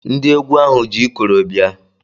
Ndị egwu ahụ ji ikoro bia